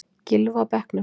Gylfi á bekknum